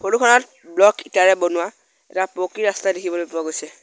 Photo খনত block ইটাৰে বনোৱা এটা পকী ৰাস্তা দেখিবলৈ পোৱা গৈছে।